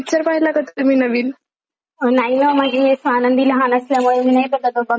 नाही हा म्हणजे आनंदी लहान असल्यामुळे मी नाही बघत पण मला माहिती आहे तुम्ही बघत असतात असं.